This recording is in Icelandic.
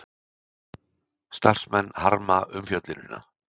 Starfsmenn harma umfjöllunina